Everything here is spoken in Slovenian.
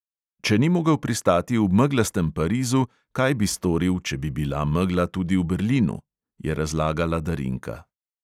"Če ni mogel pristati v meglastem parizu, kaj bi storil, če bi bila megla tudi v berlinu?" je razlagala darinka.